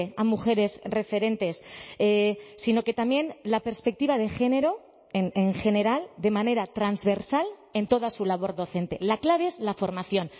a mujeres referentes sino que también la perspectiva de género en general de manera transversal en toda su labor docente la clave es la formación